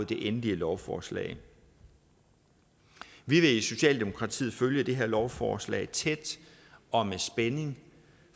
det endelige lovforslag vi vil i socialdemokratiet følge det her lovforslag tæt og med spænding